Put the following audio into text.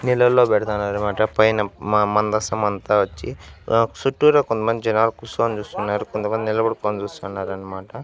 నీళ్ళలో పెడతన్నారన్మాట పైన మా మందస్తమంతా వచ్చి అహ్ సుట్టూరా కొంతమంది జనాలు కుస్సోనీ చూస్తున్నారు కొంతమంది నిలబడుకొని చూస్తున్నారన్మాట.